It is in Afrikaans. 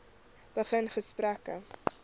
begin gesprekke